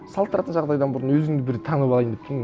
салыстыратын жағдайдан бұрын өзімді бір танып алайын деп тұрмын